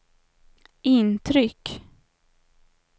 intryck